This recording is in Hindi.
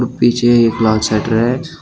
पीछे एक लाल शटर है।